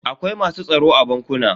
Akwai masu tsaro a bankuna.